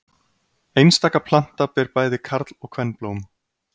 einstaka planta ber bæði karl og kvenblóm